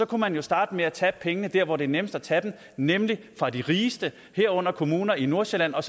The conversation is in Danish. kunne man jo starte med at tage pengene der hvor det er nemmest at tage dem nemlig fra de rigeste herunder kommuner i nordsjælland og